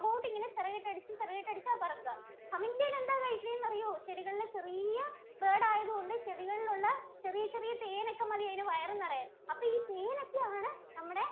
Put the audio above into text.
ഇങ്ങനെ ചിറകിട്ടടിച്ച് ചിറകിട്ടടിച്ചാ പറക്കാ. Humming bird എന്താ കഴിക്കുന്നേന്നറിയോ? ചെടികളിലെ ചെറിയ bird ആയതുകൊണ്ട് ചെടികളിലുള്ള ചെറിയ ചെറിയ തേനൊക്കെ മതി അതിനു വയറു നിറയാന്‍. അപ്പോ ഈ തേനൊക്കെയാണ് നമ്മുടെ